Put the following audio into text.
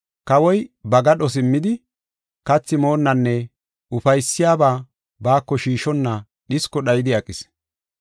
Kawoy ba gadho simmidi, kathi moonnanne ufaysiyaba baako shiishonna, dhisko dhayidi aqis.